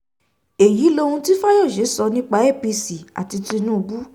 èyí lohun um tí fáyọ̀ṣe sọ nípa apc àti um tinubu